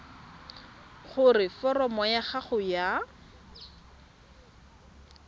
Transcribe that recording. gore foromo ya gago ya